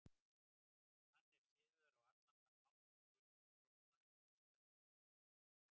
Hann er siðaður á allan þann hátt sem þykir til sóma í vestrænum samfélögum.